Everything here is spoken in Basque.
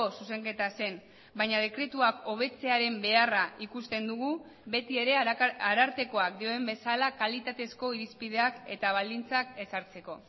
zuzenketa zen baina dekretuak hobetzearen beharra ikusten dugu beti ere arartekoak dioen bezala kalitatezko irizpideak eta baldintzak ezartzeko